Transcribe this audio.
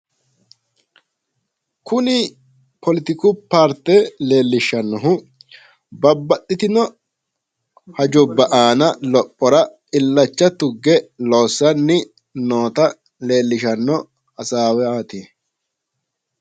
kuni poletiku paarte leellishshannohu babaxitino hajubba aana lophora illancha tugge loonsanni noota leellishshanno hasaawaati.